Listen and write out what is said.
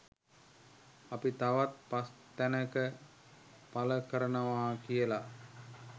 අපි තවත් පස් තැනක පළ කරනවා කියලා